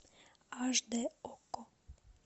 аш дэ окко